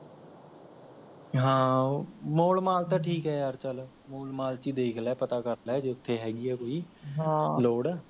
ਹਾਂ ਉਹ mall mall ਤਾਂ ਠੀਕ ਹੈ ਯਾਰ ਚੱਲ, ਮੋਲ mall ਚ ਹੀ ਦੇਖ ਲੈ ਪਤਾ ਕਰਲੈ ਜੇ ਓਥੇ ਹੈਗੀ ਹੈ ਕੋਈ ਲੋੜ